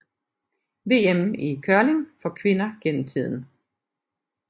VM i curling for kvinder gennem tiden